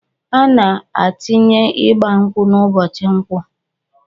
Ana atinye igba nkwụ ubochi nkwọ